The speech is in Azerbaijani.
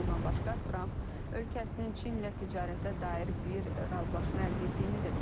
Bundan başqa, Trump ölkəsinin Çinlə ticarətə dair bir razılaşma əldə etdiyini də deyib.